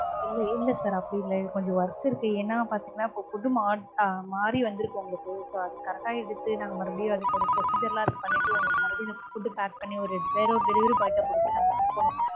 இல்ல இல்ல sir அப்படி இல்ல கொஞ்சம் work இருக்கு ஏன்னா பார்த்தீங்கன்னா இப்போ food மா~ அஹ் மாறி வந்திருக்கு உங்களுக்கு. so அது correct ஆ எடுத்து நாங்க மறுபடியும் அதுக்கு ஒரு procedure லாம் இருக்கு பண்ணிட்டு உங்களுக்கு மறுபடியும் food pack பண்ணி ஒரு வேற ஒரு delivery boy ட்ட கொடுத்துட்டு நாங்க அனுப்பனும்